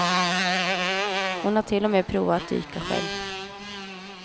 Hon har till och med provat att dyka själv.